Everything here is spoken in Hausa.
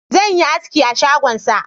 Zan yi aski a shagonsa